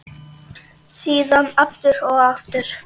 Síðan aftur og aftur.